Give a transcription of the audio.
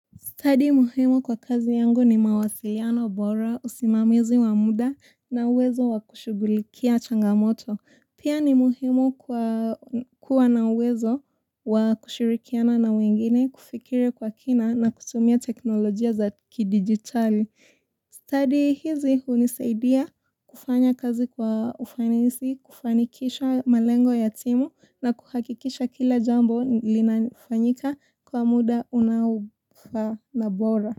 Study muhimu kwa kazi yangu ni mawasiliano bora usimamizi wamuda na uwezo wakushugulikia changamoto. Pia ni muhimu kwa kuwa na uwezo wakushirikiana na wengine kufikiri kwa kina na kutumia teknolojia za ki digitali. Study hizi hunisaidia kufanya kazi kwa ufanisi, kufanikisha malengo ya timu na kuhakikisha kila jambo linafanyika kwa muda unafaa na bora.